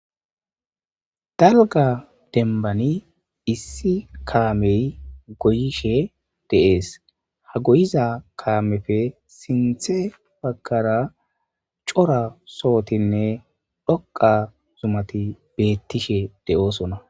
Dalga denbani issi kaamey goyishe deees ha goyiza kaamefe sinthe baggara cora sohotinne dhoqa zumati beettishe de7oosona.